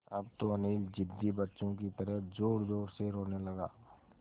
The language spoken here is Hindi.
अब तो अनिल ज़िद्दी बच्चों की तरह ज़ोरज़ोर से रोने लगा